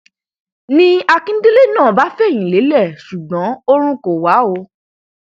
ni akíndélé náà bá fẹyìn lélẹ ṣùgbọn oorun kò wà o